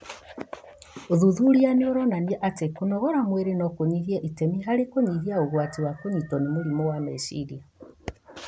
ũthuthuria nĩũronania atĩ kũnogora mwĩrĩ no kũnyite itemi harĩ kũnyihia ũgwati wa kũnyitwo nĩ mũrimũ wa meciria